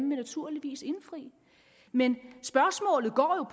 naturligvis indfri men spørgsmålet går jo